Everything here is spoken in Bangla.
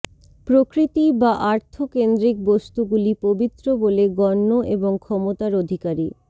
প্রকৃতি বা আর্থ কেন্দ্রিক বস্তুগুলি পবিত্র বলে গণ্য এবং ক্ষমতার অধিকারী